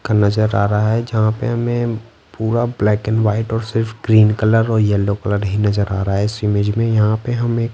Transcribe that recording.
का नजर आ रहा है जहाँ पे हमें पूरा ब्लैक एंड वाइट और सिर्फ ग्रीन कलर और येलो कलर ही नजर आ रहा है इस इमेज में यहाँ पे हमें --